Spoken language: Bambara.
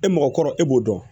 E mɔgɔkɔrɔba e b'o dɔn